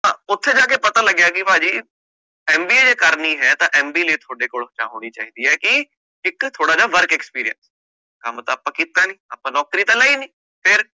ਓਥੇ ਜਾ ਕੇ ਪਤਾ ਲਗਾ ਕਿ ਪਹਾ ਜੀ MBA ਜੇ ਕਰਨੀ ਹੈ ਤਾ MBA ਲਈ ਥੋਡੇ ਕੋਲੇ ਇਕ ਗੱਲ ਹੋਣੀ ਚਾਹੀਦੀ ਹੈ ਕਿ ਇੱਕ ਥੋੜਾ ਜਾ work experience ਕੰਮ ਤਾ ਆਪ ਕੀਤਾ ਨੀ ਆਪਾ ਨੌਂਕਰੀ ਤਾ ਲਈ ਨੀ